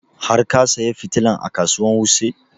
Har ka saya fitilan a kasuwan wuse?